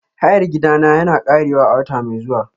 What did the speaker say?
Hayar gidana yana ƙarewa a wata mai zuwa.